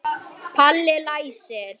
Hafði aldrei talað við hann.